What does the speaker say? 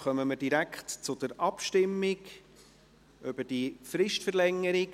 Somit kommen wir direkt zur Abstimmung über die Fristverlängerung.